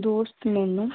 ਦੋਸਤ ਮੈਨੂੰ